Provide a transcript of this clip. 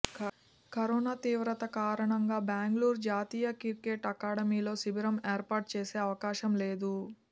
corona తీవ్రత కారణంగా బెంగళూరు జాతీయ క్రికెట్ అకాడమీలో శిబిరం ఏర్పాటు చేసే అవకాశం లేదు